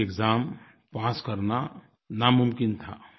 के एक्साम पास करना नामुमकिन था